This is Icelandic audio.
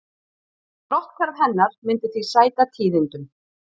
Brotthvarf hennar myndi því sæta tíðindum